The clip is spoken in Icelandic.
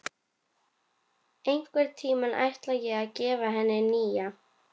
Einhvern tímann ætla ég að gefa henni nýja.